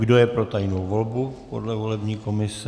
Kdo je pro tajnou volbu podle volební komise?